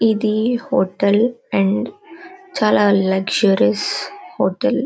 ఇది hotel . And చాలా luxuries hotel .